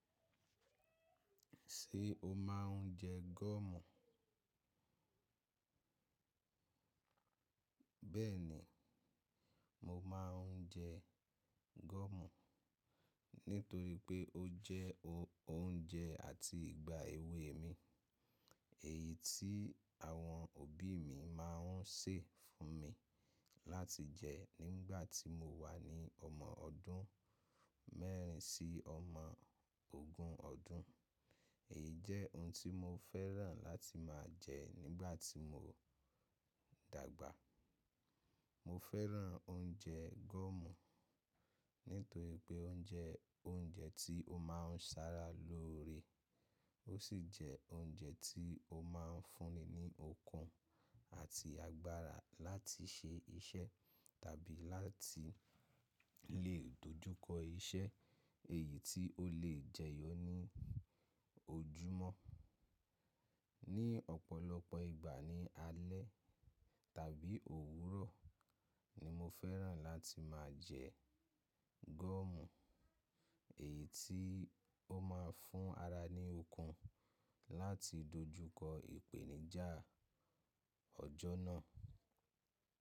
Ṣé o máa ń jẹ gọọmù? Bẹ́ẹ̀ni, mo máa ń jẹ gọọmù nítorí pé ó jẹ́ ounje àti ìgbà èwe mi, èyí tí àwọn òbí mi máa ń sè fún mi láti jẹ nígbàtí mo wà ní ọmọ ọdún mẹ́rin sí ọmọ ogún ọdún. Èyí jẹ́ oun tí mo fẹ́ràn láti máa jẹ nígbàtí mo dàgbà. Mo fẹ́ràn ounje gẹ́mù nítorí pé ó jẹ́ ounjẹ tí ó máa ń sára lóore, ó sì jẹ́ ounjẹ tí ó máa ń fún ni ní okun àti agbára láti ṣe iṣẹ́ tàbí láti lè dojúkọ iṣẹ́ èyí tí ó lè jẹyọ ní ojúmọ́. Ní ọ̀pọ̀lọpọ̀ ìgbà ní alẹ́ tàbí òwúrọ̀ ni mo fẹ́ràn láti máa jẹ gọọmù, èyí tí ó máa ń fún ara ní okun láti dojúkọ ìpèníjà ọjọ́ náà.